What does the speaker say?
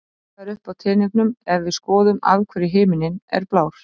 Svipað er uppi á teningnum ef við skoðum af hverju himinninn er blár?